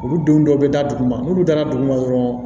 Olu denw dɔ bɛ da duguma n'u taara dugu ma dɔrɔn